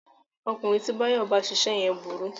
Ọkùnrin tí Báyọ̀ bá ṣiṣẹ́ yẹn burú